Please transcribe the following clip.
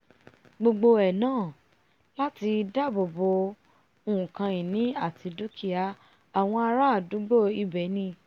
gbogbo ẹ̀ náà láti dáàbò bo nkan ìní àti dúkìá àwọn ará àdúgbò ibẹ̀ ni